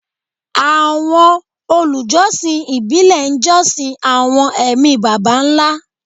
Àwọn olùjọsìn ìbílẹ̀ ń jọ́sìn àwọn ẹ̀mí baba ńlá